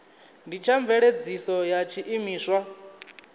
ndi tsha mveledziso ya tshiimiswa